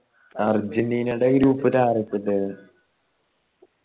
അർജന്റീൻ്റെടെ group ൽ ആരൊക്കെയുണ്ടായത്